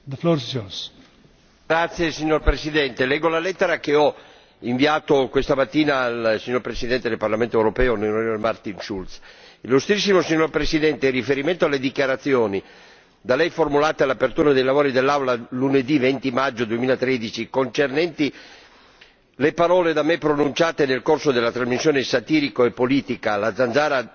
Signor Presidente, onorevoli colleghi, leggo la lettera che ho inviato questa mattina al Presidente del Parlamento europeo, onorevole Martin Schulz Illustrissimo Presidente, in riferimento alle dichiarazioni da Lei formulate all'apertura dei lavori dell'Aula lunedì 20 maggio 2013 concernenti le parole da me pronunciate nel corso della trasmissione satirico politica La zanzara sul ministro Cécile Kyenge,